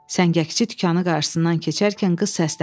Səngəkçi dükanı qarşısından keçərkən qız səslənir.